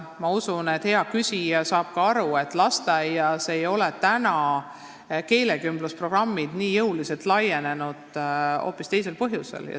Ma usun, et hea küsija saab aru, et lasteaias ei ole täna keelekümblusprogrammid nii jõuliselt levinud hoopis teisel põhjusel.